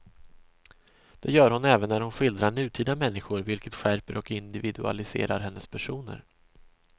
Det gör hon även när hon skildrar nutida människor, vilket skärper och individualiserar hennes personer.